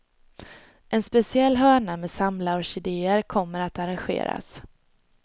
En speciell hörna med samlarorkidéer kommer att arrangeras.